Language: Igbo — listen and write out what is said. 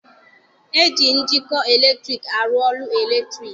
E ji njikọ eletriki arụ ọrụ eletriki.